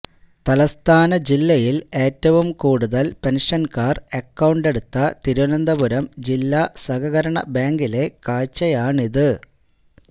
തലസ്ഥാന ജില്ലയിൽ ഏറ്റവും കൂടുതൽ പെൻഷൻകാർ അക്കൌണ്ട് എടുത്ത തിരുവനന്തപുരം ജില്ലാ സഹകരണ ബാങ്കിലെ കാഴ്ചയാണിത്